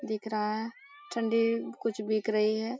दिख रहा है चंडी कुछ बिक रही है।